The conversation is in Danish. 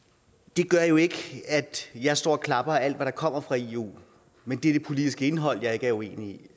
det gør jo ikke at jeg står og klapper af alt der kommer fra eu men det er det politiske indhold jeg er uenig